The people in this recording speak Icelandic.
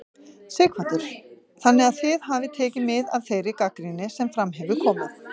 Sighvatur: Þannig að þið hafið tekið mið af þeirri gagnrýni sem fram hefur komið?